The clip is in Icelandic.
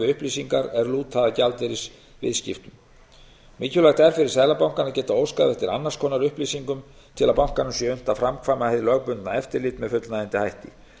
upplýsingar er lúta að gjaldeyrisviðskiptum mikilvægt er fyrir seðlabankann að geta óskað eftir annars konar upplýsingum til að bankanum sé unnt að framkvæma hið lögbundna eftirlit með fullnægjandi hætti